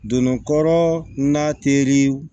Donnin kɔrɔ n'a teri